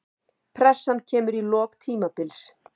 Pressan kemur í lok tímabils.